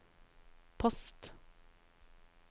post